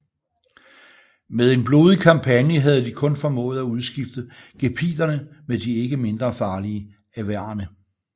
Med en blodig kampagne havde de kun formået at udskifte gepiderne med de ikke mindre farlige avarere